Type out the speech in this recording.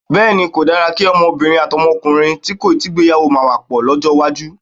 Bé̩è̩ni, kò dára kí o̩mo̩bìnrin àti o̩mo̩kùnrin tí kò tíì gbéyàwó máa wè̩ pò̩ ló̩jó̩̩ iwájú.